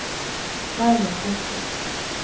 Raymond Torsvik